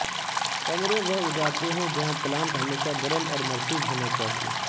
کمرے وہ اگاتے ہیں جہاں پلانٹ ہمیشہ گرم اور مرطوب ہونا چاہئے